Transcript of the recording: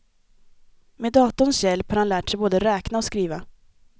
Med datorns hjälp har han lärt sig både räkna och skriva.